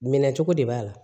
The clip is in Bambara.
Minɛ cogo de b'a la